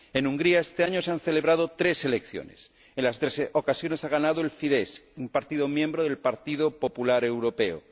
En Hungría este año se han celebrado tres elecciones en las tres ocasiones ha ganado el Fidesz, un partido miembro del Partido Popular Europeo.